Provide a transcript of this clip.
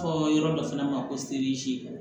Fɔ yɔrɔ dɔ fana ma ko serizi